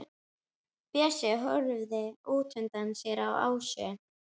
Bjössi horfir útundan sér á Ásu.